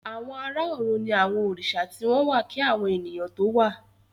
Àwọn àrà òrùn ní àwọn Òrìsà tí wón wá kí àwọn ènìyàn tó wá